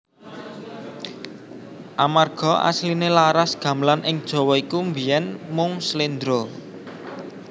Amarga asliné laras Gamelan ing Jawa iku biyèn mung slendra